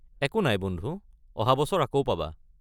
একো নাই বন্ধু, অহা বছৰ আকৌ পাবা।